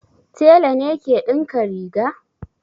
Tela ne ke dinka riga